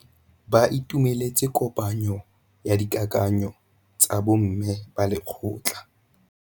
Ba itumeletse kôpanyo ya dikakanyô tsa bo mme ba lekgotla.